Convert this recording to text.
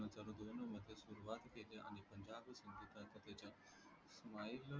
viral